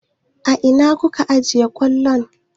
A ina kuka ajiye kwallon?